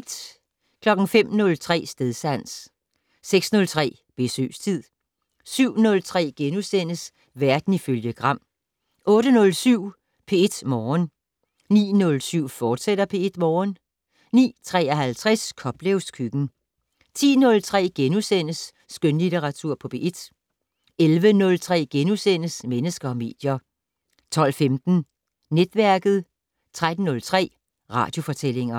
05:03: Stedsans 06:03: Besøgstid 07:03: Verden ifølge Gram * 08:07: P1 Morgen 09:07: P1 Morgen, fortsat 09:53: Koplevs køkken 10:03: Skønlitteratur på P1 * 11:03: Mennesker og medier * 12:15: Netværket 13:03: Radiofortællinger